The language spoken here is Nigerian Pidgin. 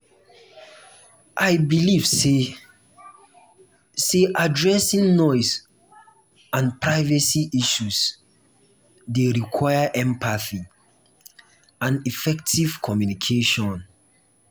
i dey believe say say addressing noise and privacy issues dey require empathy and effective communication.